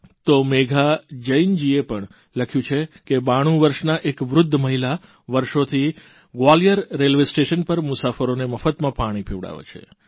તો મેઘા જૈનજીએ પણ લખ્યું છે કે 92 વર્ષના એક વૃદ્ધ મહિલા વર્ષોથી ગ્વાલિયર રેલ્વેસ્ટેશન પર મુસાફરોને મફતમાં પાણી પીવડાવે છે